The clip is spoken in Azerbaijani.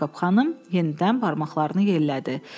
Yakob xanım yenidən barmaqlarını yellədi.